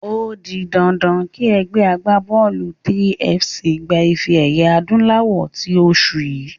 O di dandan kí ẹgbẹ́ agbábọ́ọ̀lù 3FC gba ife-ẹ̀yẹ adúláwọ̀ tí oṣù yìí.